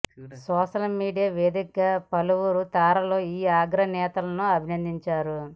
social media వేదికగా పలువురు తారలు ఈ అగ్ర నేతలను అభినందించారు